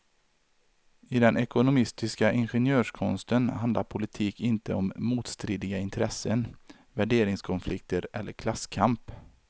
I den ekonomistiska ingenjörskonsten handlar politik inte om motstridiga intressen, värderingskonflikter eller klasskamp.